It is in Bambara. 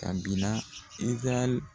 A bina Izaraɛli